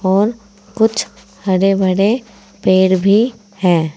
और कुछ हरे भरे पेड़ भी हैं।